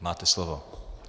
Máte slovo.